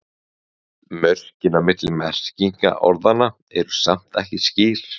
Mörkin á milli merkinga orðanna eru samt ekki skýr.